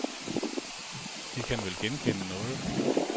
De kan vel genkende noget.